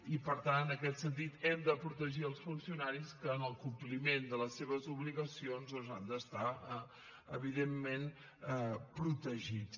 i per tant en aquest sentit hem de protegir els funcionaris que en el compliment de les seves obligacions han d’estar evidentment protegits